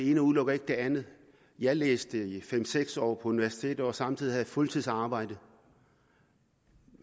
ikke udelukker det andet jeg læste i fem seks år på universitetet og samtidig havde jeg fuldtidsarbejde